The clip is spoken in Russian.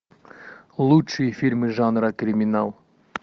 лучшие фильмы жанра криминал